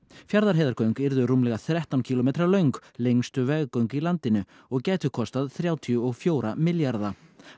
Fjarðarheiðargöng yrðu rúmlega þrettán kílómetra löng lengstu veggöng í landinu og gætu kostað þrjátíu og fjögur milljarða